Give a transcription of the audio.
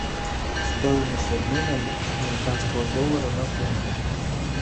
стоимость обмена американского доллара на фунты